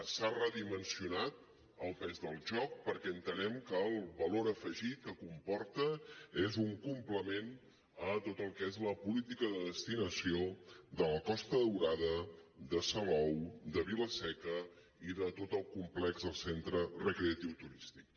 s’ha redimensionat el pes del joc perquè entenem que el valor afegit que comporta és un complement a tot el que és la política de destinació de la costa daurada de salou de vila seca i de tot el complex del centre recreatiu turístic